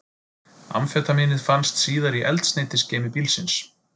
Amfetamínið fannst síðar í eldsneytisgeymi bílsins